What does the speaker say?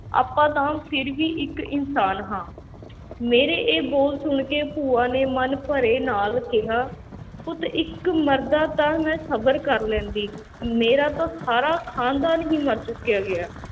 ਆਪਾਂ ਤਾਂ ਫਿਰ ਵੀ ਇੱਕ ਇਨਸਾਨ ਹਾਂ ਮੇਰੇ ਇਹ ਬੋਲ ਸੁਣ ਕੇ ਭੂਆ ਨੇ ਮਨ ਭਰੇ ਨਾਲ ਕਿਹਾ, ਪੁੱਤ ਇੱਕ ਮਰਦਾ ਤਾਂ ਮੈਂ ਸਬਰ ਕਰ ਲੈਂਦੀ, ਮੇਰਾ ਤਾਂ ਸਾਰਾ ਖਾਨਦਾਨ ਹੀ ਮਰ ਚੁੱਕਿਆ ਗਿਆ,